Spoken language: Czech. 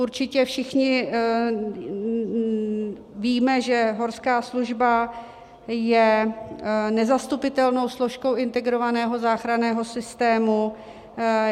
Určitě všichni víme, že horská služba je nezastupitelnou složkou integrovaného záchranného systému.